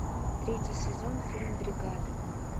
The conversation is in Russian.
третий сезон фильм бригада